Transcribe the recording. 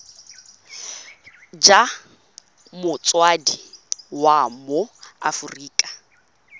jwa motsadi wa mo aforika